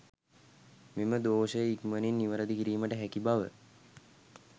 මෙම දෝෂය ඉක්මනින් නිවැරදි කිරීමට හැකි බව